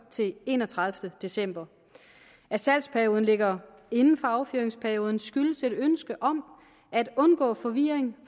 til den enogtredivete december at salgsperioden ligger inden for affyringsperioden skyldes et ønske om at undgå forvirring